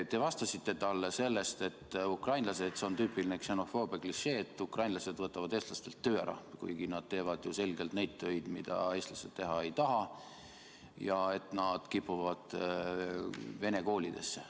Te vastasite talle – see on tüüpiline ksenofoobia klišee –, et ukrainlased võtavad eestlastelt töö ära ja et nad kipuvad vene koolidesse.